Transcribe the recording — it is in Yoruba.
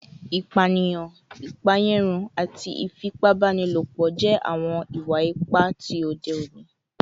Ipaniyan, ipaeyarun, ifipabanilopo, ati ifipabanilopo jẹ awọn iwa-ipa ti ode oni